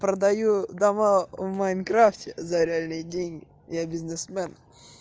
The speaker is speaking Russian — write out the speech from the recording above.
продаю дома в майнкрафте за реальные деньги я бизнесмен